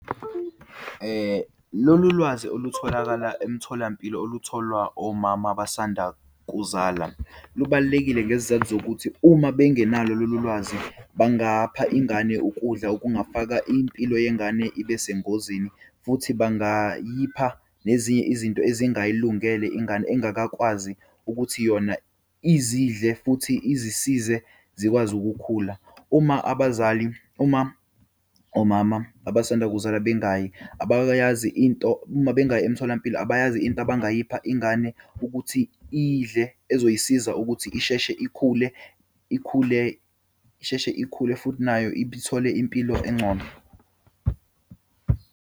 Lolu lwazi olutholakala emtholampilo olutholwa omama abasanda kuzala, lubalulekile ngesizathu zokuthi uma bengenalo lolu lwazi bangapha ingane ukudla okungafaka impilo yengane ibe sengozini, futhi bangayipha nezinye izinto ezingayilungele ingane engakakwazi ukuthi yona izidle futhi izisize zikwazi ukukhula. Uma abazali, uma omama abasanda kuzala bengayi abakayazi into, uma bengayi emtholampilo abayazi into abangayipha ingane ukuthi iyidle, ezoyisiza ukuthi isheshe ikhule, ikhule, isheshe ikhule futhi nayo ithole impilo engcono.